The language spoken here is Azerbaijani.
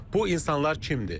Bu insanlar kimdir?